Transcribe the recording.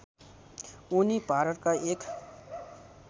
उनी भारतका एक